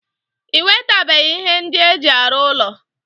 I wetebeghi ihe ndi eji aru ulo.